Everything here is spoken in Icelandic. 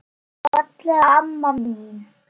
Fallega amma mín.